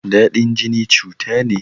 Dadin jini cuta ne.